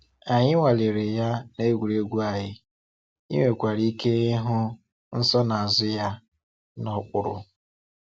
Anyị nwaleela ya n’egwuregwu anyị, i nwekwara ike ịhụ nsonaazụ ya n’okpuru.